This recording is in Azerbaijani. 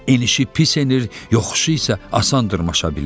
enişi pis enir, yoxuşu isə asan dırmaşa bilir.